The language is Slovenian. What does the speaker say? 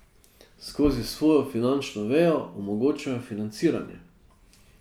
Skozi svojo finančno vejo omogočajo financiranje.